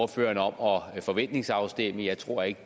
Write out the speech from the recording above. ordføreren om at forventningsafstemme jeg tror ikke